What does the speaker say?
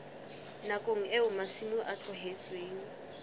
nakong eo masimo a tlohetsweng